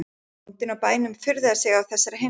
Bóndinn á bænum furðaði sig á þessari heimsókn.